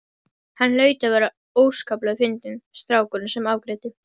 Hann hlaut að vera óskaplega fyndinn strákurinn sem afgreiddi.